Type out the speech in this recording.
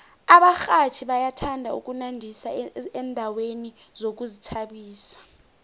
abarhatjhi bayathanda ukunandisa endaweni zokuzithabisa